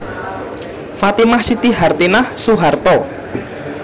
Fatimah Siti Hartinah Soeharto